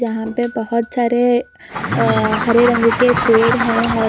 यहाँ पे बहुत सारे अ हरे रंग के पेड़ है औ--